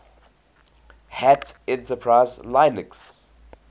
hat enterprise linux